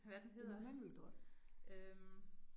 Hvad den hedder øh